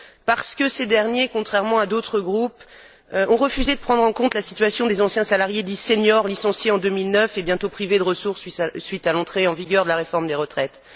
Parce que ces derniers, contrairement à d'autres groupes, ont refusé de prendre en compte la situation des anciens salariés, dits seniors, licenciés en 2009 et bientôt privés de ressources suite à l'entrée en vigueur de la réforme des retraites.